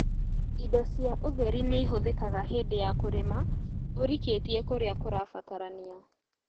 Indo cia ũtheri nĩihũthĩkaga hĩndĩ ya kũrĩma ũrikĩtie kũrĩa kũrabatarania